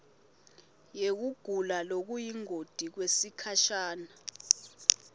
yekugula lokuyingoti kwesikhasha